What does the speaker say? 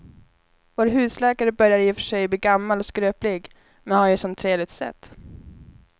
Vår husläkare börjar i och för sig bli gammal och skröplig, men han har ju ett sådant trevligt sätt!